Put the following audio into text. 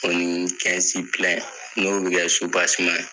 O ni n'o bi kɛ ye.